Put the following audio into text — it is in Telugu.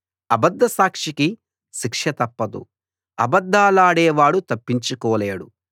అబద్ద సాక్షికి శిక్ష తప్పదు అబద్ధాలాడేవాడు తప్పించుకోలేడు